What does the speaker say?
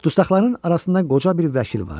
Dustaqların arasında qoca bir vəkil vardı.